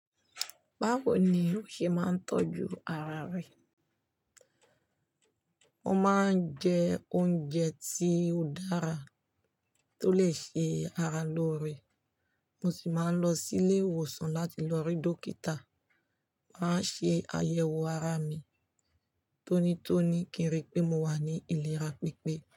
Báwo ni ó ṣe máa ń tọ́jú ara rẹ? Mo máa ń jẹ oúnjẹ tí ó dára to lè ṣe ara lóore. Mo sì máa ń lọ sí ilé ìwòsàn láti lọ rí dókítà. Máa ń ṣe àyẹ̀wò ara mi tonítoní kí n rí i pé mo wà ní ìlera pípé.